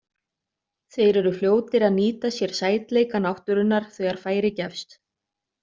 Þeir eru fljótir að nýta sér sætleika náttúrunnar þegar færi gefst.